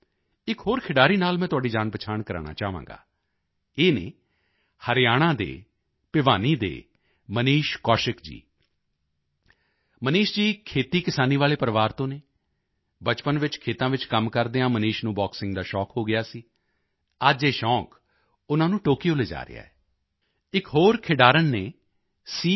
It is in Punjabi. ਇਕ ਹੋਰ ਖਿਡਾਰੀ ਨਾਲ ਮੈਂ ਤੁਹਾਡੀ ਜਾਣਪਛਾਣ ਕਰਵਾਉਣਾ ਚਾਹਾਂਗਾ ਇਹ ਹਨ ਹਰਿਆਣਾ ਦੇ ਭਿਵਾਨੀ ਦੇ ਮਨੀਸ਼ ਕੌਸ਼ਿਕ ਜੀ ਮਨੀਸ਼ ਜੀ ਖੇਤੀਕਿਸਾਨੀ ਵਾਲੇ ਪਰਿਵਾਰ ਤੋਂ ਹਨ ਬਚਪਨ ਵਿੱਚ ਖੇਤਾਂ ਵਿੱਚ ਕੰਮ ਕਰਦਿਆਂ ਮਨੀਸ਼ ਨੂੰ ਬਾਕਸਿੰਗ ਦਾ ਸ਼ੌਕ ਹੋ ਗਿਆ ਸੀ ਅੱਜ ਇਹ ਸ਼ੌਕ ਉਨ੍ਹਾਂ ਨੂੰ ਟੋਕੀਓ ਲਿਜਾ ਰਿਹਾ ਹੈ ਇਕ ਹੋਰ ਖਿਡਾਰਣ ਹਨ ਸੀ